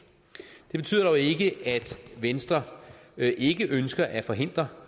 det betyder dog ikke at venstre ikke ønsker at forhindre